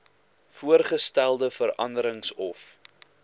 voorgestelde veranderings of